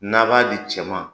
N'a b'a di cɛ ma